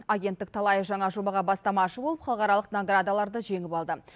агенттік талай жаңа жобаға бастамашы болып халықаралық наградаларды жеңіп алды